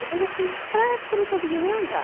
Depois eu fiquei fraca, não conseguia nem andar.